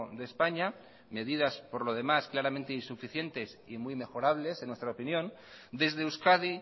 de españa medidas por lo demás claramente insuficientes y muy mejorables en nuestra opinión desde euskadi